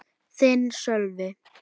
Þinn, Sölvi.